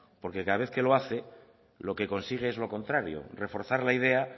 porque cada vez que lo hace lo que consigue es lo contrario reforzar la idea